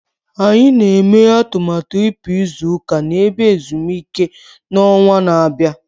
Anyị na-eme atụmatụ ịpụ izu ụka na ebe ezumike n'ọnwa na-abịa